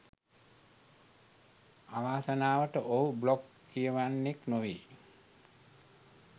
අවාසනාවට ඔහු බ්ලොග් කියවන්නෙක් නොවේ